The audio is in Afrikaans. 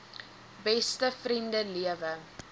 beste vriende lewe